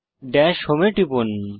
Das home এ টিপুন